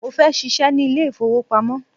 Mo fẹ́ ṣíṣe ní ilé ìfowópamọ́.